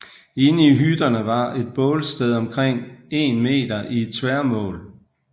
Inde i hytterne var et bålsted omkring 1 m i tværmål